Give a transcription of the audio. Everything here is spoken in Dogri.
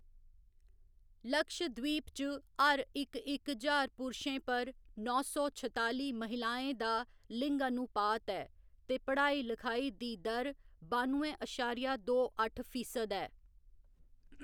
लक्षद्वीप च हर इक इक ज्हार पुरशें पर नौ सौ छताली महिलाएं दा लिंगानुपात ऐ ते पढ़ाई लखाई दी दर बानुए अशारिया दो अट्ठ फीसद ऐ।